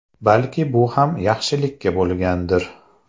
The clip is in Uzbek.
Balki bu ham yaxshilikka bo‘lgandir.